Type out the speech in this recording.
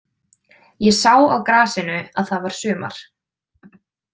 Ég sá á grasinu að það var sumar.